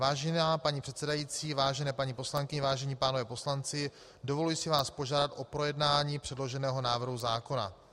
Vážená paní předsedající, vážené paní poslankyně, vážení pánové poslanci, dovoluji si vás požádat o projednání předloženého návrhu zákona.